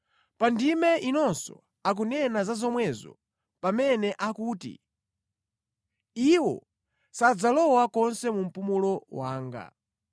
Pa ndime inonso akunena za zomwezo pamene akuti, “Iwo sadzalowa konse mu mpumulo wanga.”